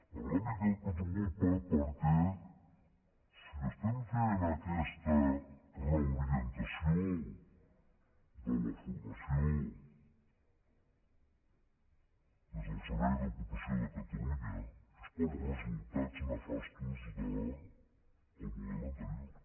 en l’àmbit que ens ocupa perquè si estem fent aquesta reorientació de la formació des del servei d’ocupació de catalunya és pels resultats nefastos del model anterior